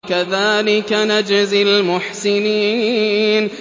كَذَٰلِكَ نَجْزِي الْمُحْسِنِينَ